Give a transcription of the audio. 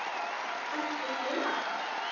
Ertu heima?